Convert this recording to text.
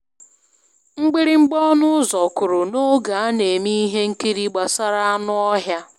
Mgbịrịgba ọnụ ụzọ kụrụ n'oge a na-eme ihe nkiri gbasara anụ ọhịa.